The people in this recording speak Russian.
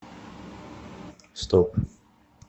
стоп